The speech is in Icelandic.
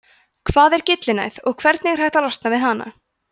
hvað er gyllinæð og hvernig er hægt að losna við hana